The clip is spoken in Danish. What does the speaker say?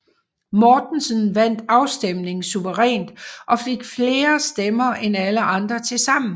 Mortensen vandt afstemningen suverænt og fik flere stemmer end alle andre tilsammen